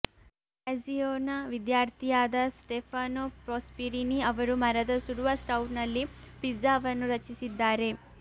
ಗ್ರ್ಯಾಜಿಯೊನ ವಿದ್ಯಾರ್ಥಿಯಾದ Stefano Prosperini ಅವರು ಮರದ ಸುಡುವ ಸ್ಟೌವ್ನಲ್ಲಿ ಪಿಜ್ಜಾವನ್ನು ರಚಿಸಿದ್ದಾರೆ